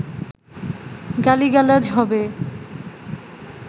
গালি-গালাজ হবে